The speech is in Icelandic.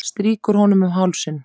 Strýkur honum um hálsinn.